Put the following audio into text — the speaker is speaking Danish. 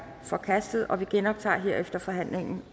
forkastet og vi genoptager herefter forhandlingen